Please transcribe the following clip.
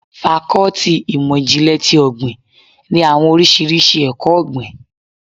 Fákọ́tì ìmọ̀ ìjìnlè ti ọ̀gbìn ní àwọn oríṣiríṣi ẹkọ-ogbin.